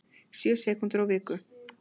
Sjö sekúndur á viku